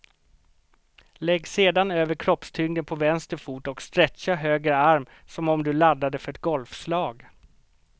Lägg sedan över kroppstyngden på vänster fot och stretcha höger arm som om du laddade för ett golfslag.